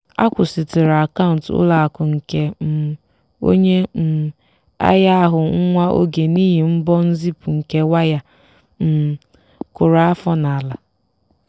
akwụsịtụrụ akaụntụ ụlọ akụ nke um onye um ahịa ahụ nwa oge n'ihi mbọ nzipụ nke waya um kụrụ afọ n'ala.